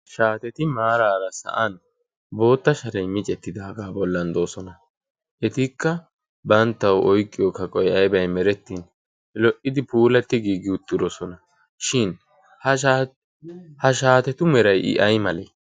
shaateti maaraara sa'an bootta sharay micettidaagaa bollan doosona. etikka banttau oiqqiyoo ka qoi aibai merettin lo"idi puulatti giigi uttirosona shin ha shaatetu meray i ay malee?